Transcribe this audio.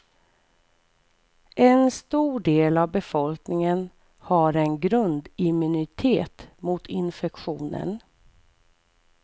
En stor del av befolkningen har en grundimmunitet mot infektionen.